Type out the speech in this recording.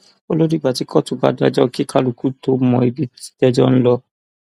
ó lọ dìgbà tí kóòtù bá dájọ kí kálukú tóó mọ ibi tẹjọ ń lọ